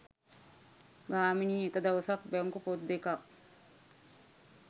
ගාමිනී එක දවසක් බැංකු පොත් දෙකක්